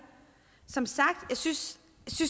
som sagt synes